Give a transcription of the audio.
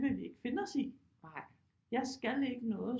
Vil vi ikke finde os i jeg skal ikke noget